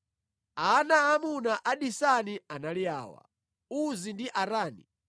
Ana aamuna a Disani anali awa: Uzi ndi Arani.